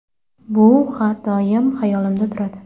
Bu har doim hayolimda turadi.